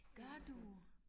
Gør du?